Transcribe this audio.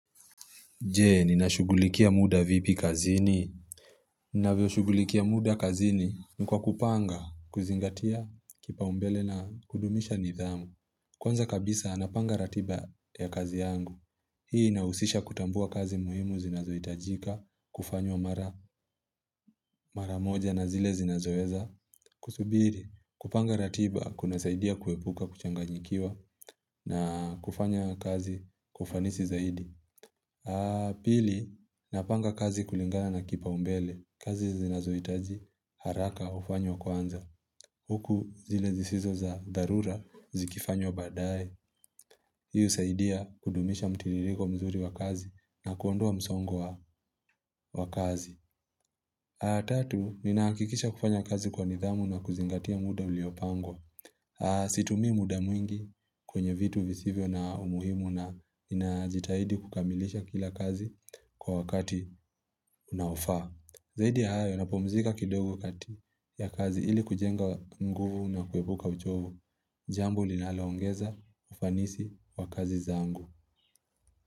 Je, ninashugulikia muda vipi kazini? Ninavyoshugulikia muda kazini ni kwa kupanga, kuzingatia kipaumbele na kudumisha nidhamu. Kwanza kabisa, napanga ratiba ya kazi yangu. Hii inahusisha kutambua kazi muhimu zinazohitajika, kufanywa mara moja na zile zinazoweza. Kusubiri. Kupanga ratiba kunasaidia kuepuka, kuchanganyikiwa, na kufanya kazi kwa ufanisi zaidi. Pili, napanga kazi kulingana na kipaumbele. Kazi zinazohitaji haraka hufanywa kwanza Huku zile zisizo za dharura zikifanywa baadaye. Hii husaidia kudumisha mtiririko mzuri wa kazi na kuondoa msongo wa kazi Tatu, ninahakikisha kufanya kazi kwa nidhamu na kuzingatia muda uliopangwa. Situmii muda mwingi kwenye vitu visivyo na umuhimu na ninajitahidi kukamilisha kila kazi kwa wakati unaofaa. Zaidi ya hayo, napumzika kidogo kati ya kazi ili kujenga nguvu na kuepuka uchovu. Jambo linaloongeza ufanisi kwa kazi zangu.